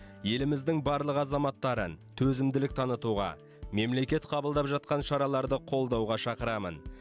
еліміздің барлық азаматтарын төзімділік танытуға мемлекет қабылдап жатқан шараларды қолдауға шақырамын